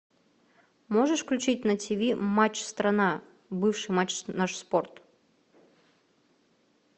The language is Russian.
можешь включить на тв матч страна бывший матч наш спорт